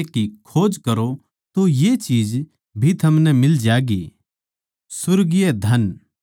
पर परमेसवर कै राज्य की खोज करो तो ये चीज भी थमनै मिल ज्यागीं